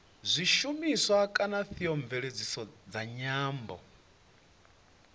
zwishumiswa kana theomveledziso dza nyambo